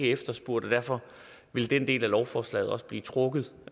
efterspurgt og derfor vil den del af lovforslaget også blive trukket